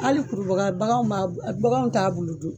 Hali kurubaga baganw ma baganw t'a bulu dun.